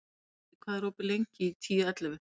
Kali, hvað er opið lengi í Tíu ellefu?